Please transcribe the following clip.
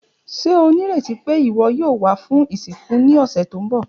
Ṣe o nireti pe iwọ yoo wa fun isinku ni ọsẹ ti n bọ?